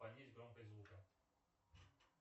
понизь громкость звука